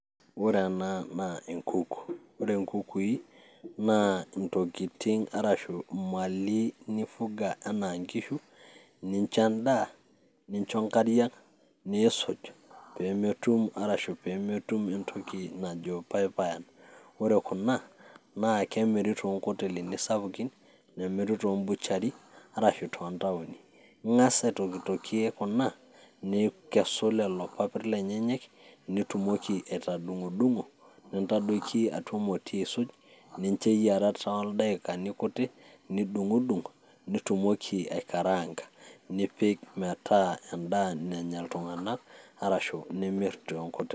Ore ena naa enkuku, ore nkukui naa ntokitin arashu mali nifuga enaa nkishu ninjo endaa, ninjo nkariak, niisuj pee metum arashu pee metum entoki najo payapayan. Ore kuna naa kemiri too nkotelini sapukin, nemiri to mbuchari, arashu too ntaoni. Ing'asa aitokitokie kuna, nikesu lelo papit lenyenyek nitumoki atadung'dung'o nintadoiki atua emoti aisuj, ninjo eyiara toldakikani kutik nidung'dung' nitumoki aikaranka nepik metaa endaa nanya iltung'anak arashu nimir te nkoteli.